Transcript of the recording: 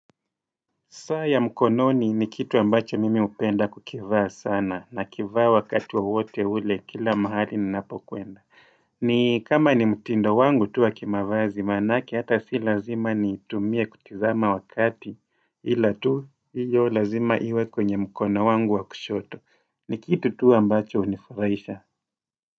Saa ya mkononi ni kitu ambacho mimi hupenda kukivaa sana nakivaa wakati wowote ule kila mahali ninapo kwenda. Ni kama ni mtindo wangu tu wa kimavazi manake hata si lazima nitumie kutizama wakati ila tu hiyo lazima iwe kwenye mkono wangu wa kushoto. Ni kitu tu ambacho hunifuraisha.